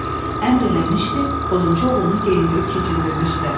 Əmr eləmişdi, odunçu oğlunu geyindirib keçindirmişdilər.